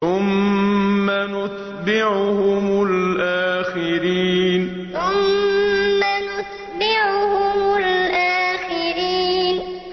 ثُمَّ نُتْبِعُهُمُ الْآخِرِينَ ثُمَّ نُتْبِعُهُمُ الْآخِرِينَ